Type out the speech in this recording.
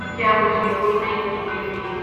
کیا مجھے کوئی نئی ای میل ملی